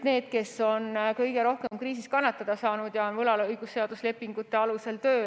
Need, kes on kõige rohkem kriisis kannatada saanud, on võlaõigusseaduslike lepingute alusel tööl.